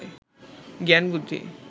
জ্ঞান বুদ্ধি